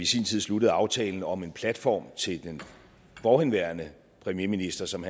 sin tid sluttede aftalen om en platform til den forhenværende premierminister som